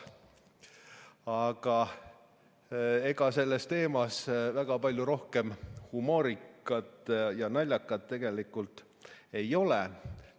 Aga ega selles teemas väga palju rohkem humoorikat ja naljakat ei ole.